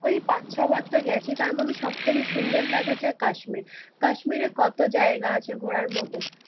ওই পাঁচ ছয়বার তো গেছি, তারমধ্যে সব থেকে সুন্দর লাগে হচ্ছে কাশ্মীর। কাশ্মীরে কত জায়গা আছে ঘোরার মতন